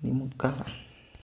nhi mukala..